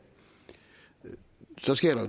så sker